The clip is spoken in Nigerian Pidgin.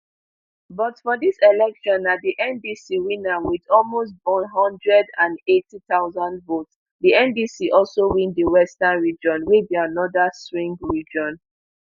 but for dis election na di ndc win am wit almost b one hundred and eighty thousand votes di ndc also win di western region wey be anoda swing region